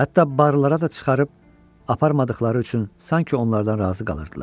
Hətta barılara da çıxarıb aparmadıqları üçün sanki onlardan razı qalırdılar.